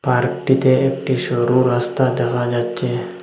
পার্কটিতে একটি সরু রাস্তা দেখা যাচ্ছে।